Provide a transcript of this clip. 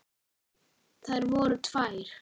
Þær voru tvær.